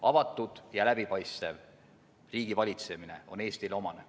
Avatud ja läbipaistev riigivalitsemine on Eestile omane.